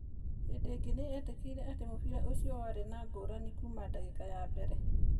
Hĩndĩ ĩngĩ nĩ eetĩkĩrire atĩ mũbira ũcio warĩ ngũrani kuma ndagĩka ya mbere.